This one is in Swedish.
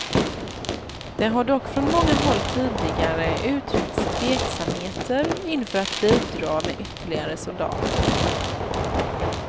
Det har dock från många håll tidigare uttrycks tveksamheter inför att bidra med ytterligare soldater.